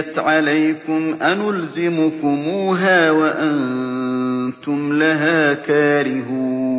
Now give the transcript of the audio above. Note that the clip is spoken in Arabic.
فَعُمِّيَتْ عَلَيْكُمْ أَنُلْزِمُكُمُوهَا وَأَنتُمْ لَهَا كَارِهُونَ